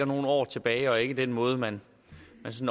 nogle år tilbage og ikke noget man